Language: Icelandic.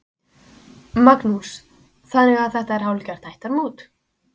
Magnús: Þannig að þetta er hálfgert ættarmót?